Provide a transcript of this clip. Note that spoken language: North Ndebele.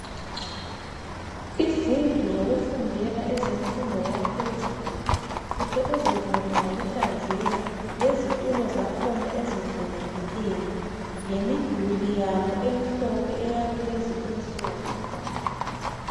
Izindlu zokufundela ezemfundo yaphezulu uhle uzibone ngokuhlanzeka lezitulo zakhona ezihlelekileyo, lemidulo yabo emhlophe eyakulezi insuku.